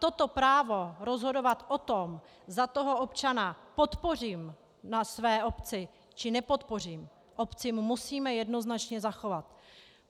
Toto právo rozhodovat o tom, zda toho občana podpořím na své obci, či nepodpořím, obcím musíme jednoznačně zachovat.